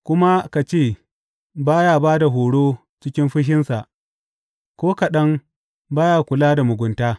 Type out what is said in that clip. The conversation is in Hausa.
Kuma ka ce, ba ya ba da horo cikin fushinsa ko kaɗan ba ya kula da mugunta.